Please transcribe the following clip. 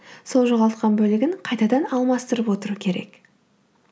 сол жоғалтқан бөлігін қайтадан алмастырып отыру керек